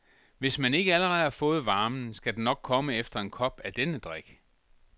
Hvis man ikke allerede har fået varmen, skal den nok komme efter en kop af denne drik.